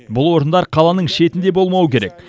бұл орындар қаланың шетінде болмауы керек